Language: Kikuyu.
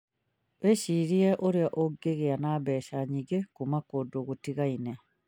Wĩcirie ũrĩa ũngĩgĩa na mbeca nyingĩ kuuma kũndũ gũtigaine